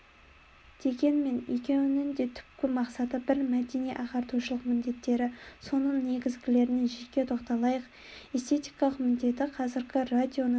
дегенмен екеуінің де түпкі мақсаты бір мәдени-ағартушылық міндеттері соның негізгілеріне жеке тоқталайық эстетикалық міндеті қазіргі радионың